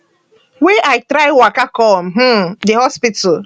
wey i try waka come um di hospital